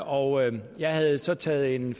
og jeg havde så taget en